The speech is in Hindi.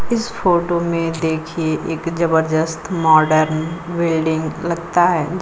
इस फोटो में देखिए एक जबरदस्त माडर्न बिल्डिंग लगता है।